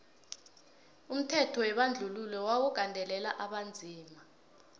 umthetho webandluhilo wawu gandelela abonzima